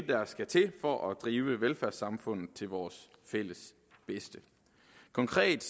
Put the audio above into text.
der skal til for at drive velfærdssamfundet til vores fælles bedste konkret